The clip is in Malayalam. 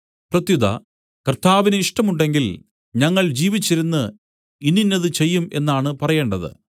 പ്രത്യുത കർത്താവിന് ഇഷ്ടമുണ്ടെങ്കിൽ ഞങ്ങൾ ജീവിച്ചിരുന്ന് ഇന്നിന്നത് ചെയ്യും എന്നാണ് പറയേണ്ടത്